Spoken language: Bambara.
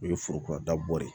O ye foroba dabɔ ye